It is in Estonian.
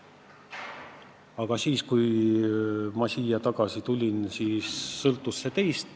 Aga siis, kui ma siia tagasi tulin, sõltus see teist.